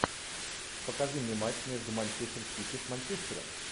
покажи мне матч между манчестер сити с манчестером